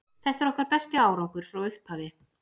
Þetta er okkar besti árangur frá upphafi.